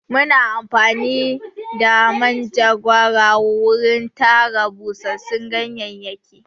Muna amfani da manjagara wurin tara busassun ganyayyaki.